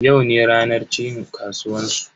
Yau ne ranar cin kasuwan su.